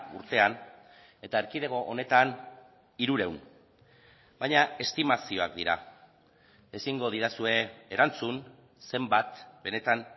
urtean eta erkidego honetan hirurehun baina estimazioak dira ezingo didazue erantzun zenbat benetan